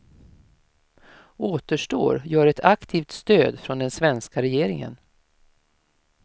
Återstår gör ett aktivt stöd från den svenska regeringen.